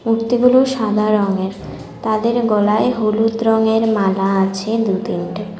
মূর্তিগুলো সাদা রঙের তাদের গলায় হলুদ রঙের মালা আছে দু তিনটে।